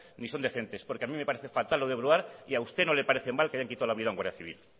ni son decentes porque a mí me parece fatal lo de brouard y usted no le parece mal que le hayan quitado la vida a un guardia civil